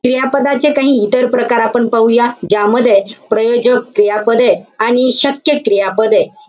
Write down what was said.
क्रियापदाचे काही इतर प्रकार आपण पाहूया. ज्यामध्ये, प्रायोजक क्रियापदे आणि शक्य क्रियापदे,